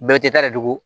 Bɛɛ bɛ tɛ ta de don